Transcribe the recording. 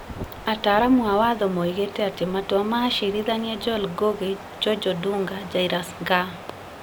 ataaramu a watho moigĩte atĩ matua ma acirithania Joel Ngugi, George Odunga, Jairus Ngaah,